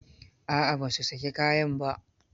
A'a ba su saki kayan ba.